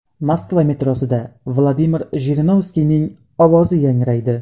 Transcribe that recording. Moskva metrosida Vladimir Jirinovskiyning ovozi yangraydi.